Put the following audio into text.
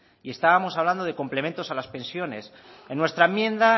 y estábamos hablando de complementos a las pensiones en nuestra enmienda